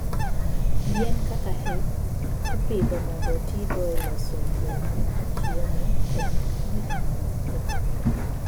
Yien kaka hemp ipidho mondo otigo e loso lewni, chiemo, kod gik mamoko.